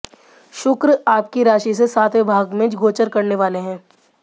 शुक्र आपकी राशि से सातवें भाव में गोचर करने वाले हैं